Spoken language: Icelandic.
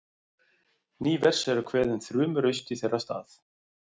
Ný vers eru kveðin þrumuraust í þeirra stað.